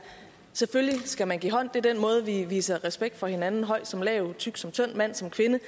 selvfølgelig skal man give hånd det er den måde vi viser respekt for hinanden på høj som lav tyk som tynd mand som kvinde